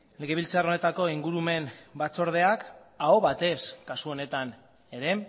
legebiltzar honetako ingurumen batzordeak aho batez kasu honetan ere